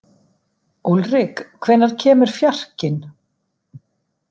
Úlrik, hvenær kemur fjarkinn?